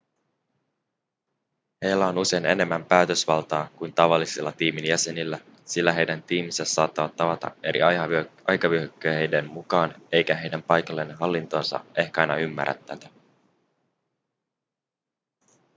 heillä on usein enemmän päätösvaltaa kuin tavallisilla tiimin jäsenillä sillä heidän tiiminsä saattavat tavata eri aikavyöhykkeiden mukaan eikä heidän paikallinen hallintonsa ehkä aina ymmärrä tätä